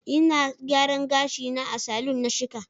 Ina gyaran gashi na a salon na shika.